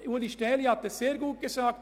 Ueli Stähli hat es sehr gut gesagt: